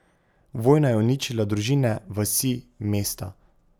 Vojna je uničila družine, vasi, mesta.